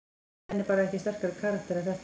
Hemmi er bara ekki sterkari karakter en þetta.